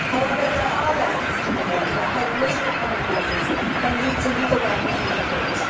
However, there are lessons to be learned about how political compromises can lead to legal battles in the court.